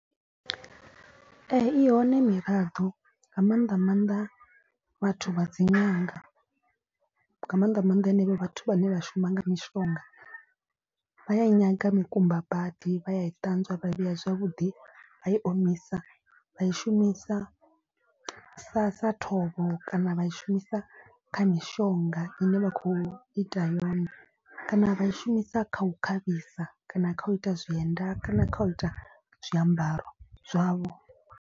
Ee i hone miraḓo nga maanḓa maanḓa vhathu vha dzi ṅanga nga maanḓa maanḓa henevho vhathu vhane vha shuma nga mishonga. Vha ya i nyaga mikumba badi vha ya i ṱanzwa vha vhea zwavhuḓi vha i omisa vha i shumisa. Sa sa ṱhoho kana vha i shumisa kha mishonga i ne vha khou ita yone. Kana vha i shumisa kha u khavhisa kana kha u ita zwienda kana kha u ita zwiambaro zwavho.